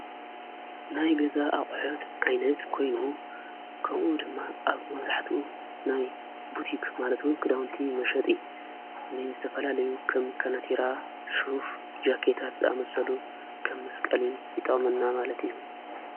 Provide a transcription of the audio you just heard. ናይ ገዛ ኣቁሑት ዓይነት ኮይኑ ከምኡ ድማ ኣብ መብዛሕትኡ ናይ ቡቲኽ ማለትውን ክዳውንቲ መሸጢ ንን ዝተፈላለዩ ኸም ከነቲራ ሽሁፍ ጃቄታት ዝኣመሰሉ ከም መስቀሊ ይጠቅመና ማለት እዩ።